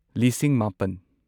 ꯂꯤꯁꯤꯡ ꯃꯥꯄꯟ